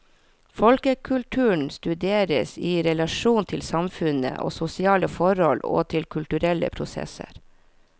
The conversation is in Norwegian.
Folkekulturen studeres i relasjon til samfunn og sosiale forhold og til kulturelle prosesser.